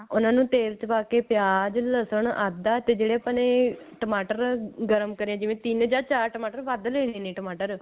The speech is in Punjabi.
ਉਹਨਾਂ ਨੂੰ ਤੇਲ ਚ ਪਾਕੇ ਪਿਆਜ ਲਹਸਨ ਆਦਾ ਤੇ ਜਿਹੜੇ ਆਪਾਂ ਨੇ ਟਮਾਟਰ ਗਰਮ ਕਰੇ ਜਿਵੇਂ ਤਿੰਨ ਜਾ ਚਾਰ ਟਮਾਟਰ ਵੱਧ ਲੇ ਲੇਣੇ ਟਮਾਟਰ